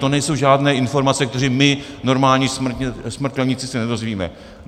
To nejsou žádné informace, které my, normální smrtelníci, se nedozvíme.